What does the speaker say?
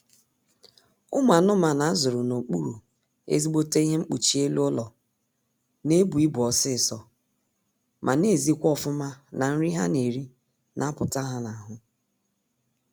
Ụmụ anụmanụ a zụrụ n'okpuru ezigbote ihe mpkuchi elu ụlọ na-ebu ibu ọsịịsọ ma na-ezikwa ọfụma na nri ha na-eri na-apụta ha n'ahụ